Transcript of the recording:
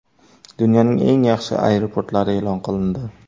Dunyoning eng yaxshi aeroportlari e’lon qilindi.